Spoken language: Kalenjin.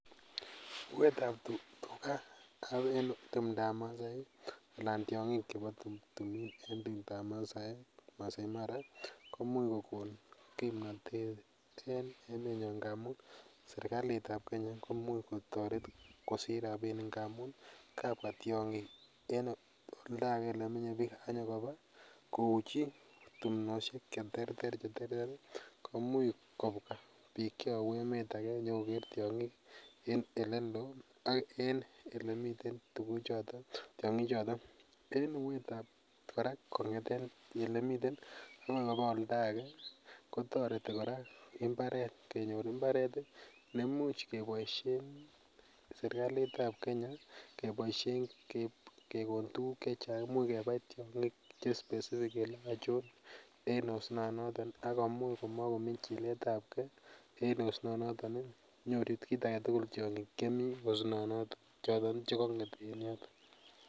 Uuetab tugab en timndab maasaek ii anan tiong'ik chebo timin en timndab maasaek maasai mara komuch kokonon kipnotet en emonyo ngamun ii serikalitab kenya komuch kotoret kosich rapinik ng'amun kabwa tiong'ik en oldake olemenye biik akinyokobaa kouichi timosiek cheterter cheterter ii komuch kobwa biik cheyobu emet ake nyokoker tiong'ik en oleloo ak en elemiten tuguchoton tiong'ichoton en uuetab kora kong'eten olemiten akoi kobaa oldake kotoreti kora kenyor mbaret ii nemuch keboisien serikalitab kenya keboisien kekon tuguk chechang imuch kebai tiong'ik che specific kele achon en osnonoton ii akomuch komokomii chiletab gee en osnoton nyoru kit agetugul tiong'ik chemii osnonoton choton chekong'et en yoton .